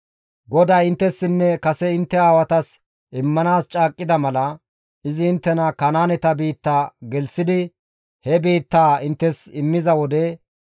«GODAY inttessinne kase intte aawatas immanaas caaqqida mala, izi inttena Kanaaneta biitta gelththidi, he biittaa inttes immiza wode,